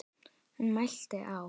Hún mælti: Á